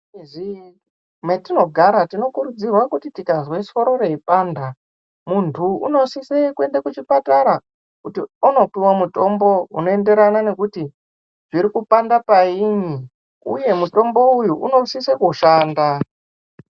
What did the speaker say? Mu mizi matino gara tino kurudzirwa kuti tikazwe soro rei panda muntu uno sise kuenda ku chipatara kuti anopowa mutombo uno enderana nekuti zviri kupanda payini uye mutombo uwu uno sise kushanda.